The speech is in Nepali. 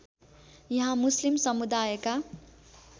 यहाँ मुस्लिम समुदायका